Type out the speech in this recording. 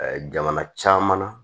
jamana caman na